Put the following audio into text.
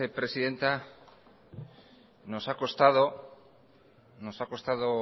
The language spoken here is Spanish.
presidenta nos ha costado